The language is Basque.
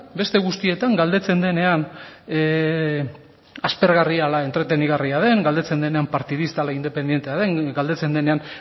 beste guztietan galdetzen denean aspergarria ala entretenigarria den galdetzen denean partidista ala independentea den galdetzen denean